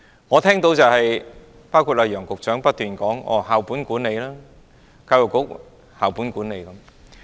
我聽到的是楊潤雄局長不斷說："教育局實行校本管理"。